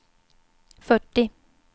fyrtio